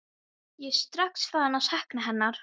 Ég er strax farinn að sakna hennar.